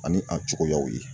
Ani a cogoyaw ye